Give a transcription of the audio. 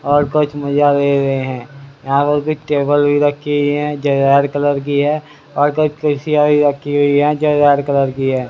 और कुछ मजा ले रहे है यहां पर कुछ टेबल भी रखी हुई है जो रेड कलर की है और कुछ कुर्सियां भी रखी हुई है जो रेड कलर की है।